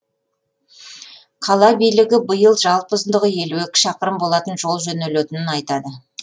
қала билігі биыл жалпы ұзындығы елі екі шақырым болатын жол жөнелетінін айтады